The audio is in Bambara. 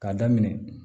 K'a daminɛ